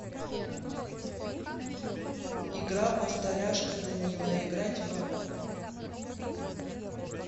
игра повторяшка данила играть в